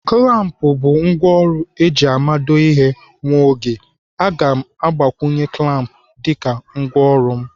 Klamp bụ ngwaọrụ eji amado ihe nwa oge. Aga m agbakwunye klamp dịka ngwaọrụ m.